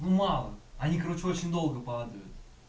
мало они короче очень долго падают